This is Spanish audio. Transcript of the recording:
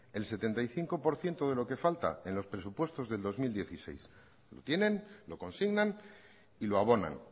el setenta y cinco por ciento de lo que falta en los presupuesto del dos mil dieciséis lo tienen lo consignan y lo abonan